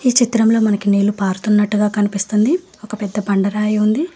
ఈ చిత్రంలో మనకి నీళ్లు పారుతున్నట్టుగా కనిపిస్తుంది ఒక పెద్ద బండరాయి ఉంది.